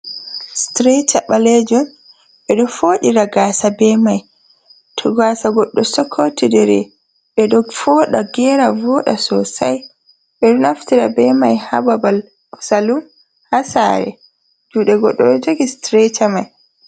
Strata ɓalejun ɓe ɗo foɗira gasa be mai to gasa goɗɗo sokotidiri ɓeɗo foɗa, gera, voda sosai. Ɓedo naftira be mai ha babal salum, ha sare juɗe goɗɗo jogi strata mai.